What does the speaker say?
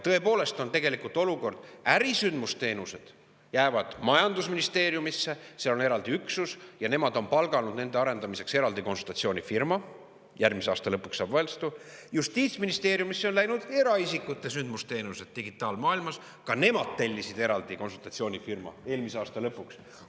Tõepoolest, tegelikult on olukord selline, et ärisündmusteenused jäävad majandusministeeriumisse – seal on selleks eraldi üksus ja nemad on palganud nende arendamiseks eraldi konsultatsioonifirma, järgmise aasta lõpuks saab; aga Justiitsministeeriumisse on läinud eraisikute sündmusteenused digitaalmaailmas, ka nemad tellisid eraldi konsultatsioonifirma eelmise aasta lõpuks.